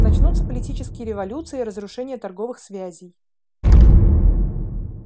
начнутся политические революции разрушение торговых связей